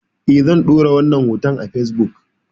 Eh zan ɗora wannan hoton a fesbuk